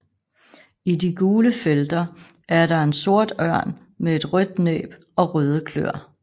I de gule felter er der en sort ørn med et rødt næb og røde kløer